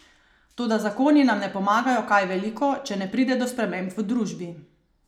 Toda zakoni nam ne pomagajo kaj veliko, če ne pride do sprememb v družbi.